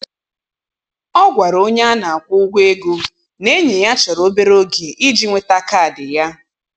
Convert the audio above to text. Ọ gwara onye a na akwụ ụgwọ ego na enyi ya chọrọ obere oge iji nweta kaadị ya.